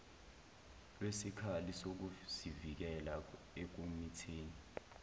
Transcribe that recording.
lwesikhali sokuzivikela ekumitheni